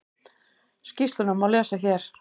Skýrsluna má lesa hér